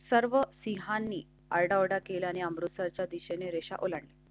सर्व सिंहांनी आरडाओरडा केला आणि अमृतसरच्या दिशेने रेषा ओलांड.